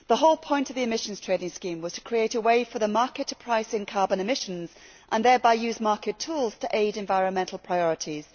The whole point of the Emissions Trading Scheme was to create a way for the market to set a price on carbon emissions and thereby use market tools to aid environmental priorities.